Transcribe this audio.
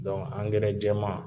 angɛrɛ jɛman